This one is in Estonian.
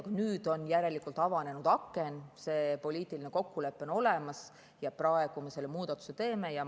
Aga nüüd on järelikult avanenud aken, see poliitiline kokkulepe on olemas ja praegu me selle muudatuse teeme.